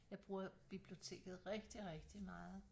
Jeg bruger biblioteket rigtig rigtig meget